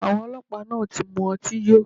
Awọn ọlọpa naa ti mu ọti yo